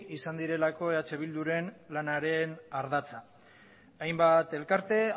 izan direlako eh bilduren lanaren ardatza hainbat elkarte